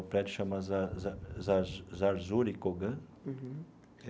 O prédio se chama Za Za Zar Zarzur e Kogan.